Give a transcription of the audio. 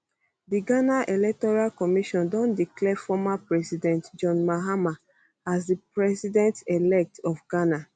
di ghana electoral commission don declare former president john mahama as di presidentelect of ghana